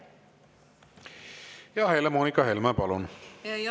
Helle-Moonika Helme, palun!